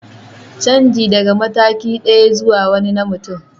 Canji daga mataki ɗaya zuwa wani na mutum